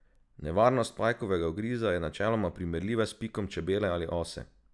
Nevarnost pajkovega ugriza je načeloma primerljiva s pikom čebele ali ose.